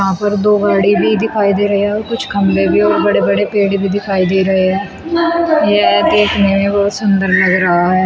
यहां पर दो गाड़ी भी दिखाई दे रही है और कुछ खंभे भी और पेड़ भी दिखाई दे रहे हैं। यह देखने में बहुत सुंदर लग रहा है।